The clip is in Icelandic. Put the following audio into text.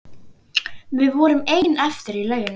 Við vorum ein eftir í lauginni.